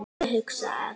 Ég hugsa að